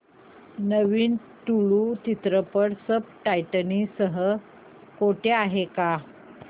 नवीन तुळू चित्रपट subtitles सह कुठे आहे का